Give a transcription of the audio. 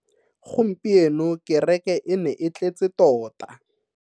Gompieno kereke e ne e tletse tota.